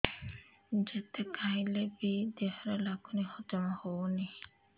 ଯେତେ ଖାଇଲେ ବି ଦେହରେ ଲାଗୁନି ହଜମ ହଉନି